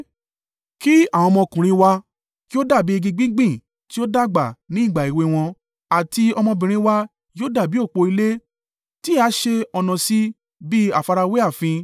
Kí àwọn ọmọkùnrin wa kí ó dàbí igi gbígbìn tí ó dàgbà ni ìgbà èwe wọn, àti ọmọbìnrin wa yóò dàbí òpó ilé tí a ṣe ọ̀nà sí bí àfarawé ààfin.